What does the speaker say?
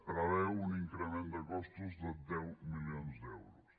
preveu un increment de costos de deu milions d’euros